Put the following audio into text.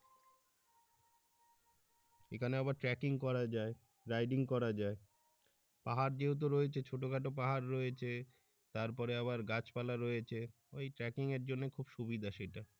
এখানে আবার trekking করা যায় রাইডিং করা যায় পাহাড় যেহেতু রয়েছে ছোট খাটো পাহাড় রয়েছে তারপরে আবার গাছপালা রয়েছে ওই trekking এর জন্য খুব সুবিধা সেই টা।